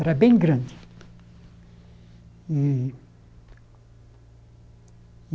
Era bem grande. E